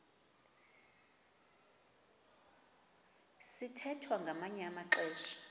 sithwethwa ngamanye amaxesha